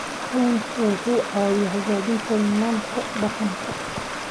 Kalluunku wuxuu caawiyaa xoojinta nidaamka deegaanka.